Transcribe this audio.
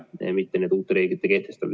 Meil pole vajadust uusi reegleid kehtestada.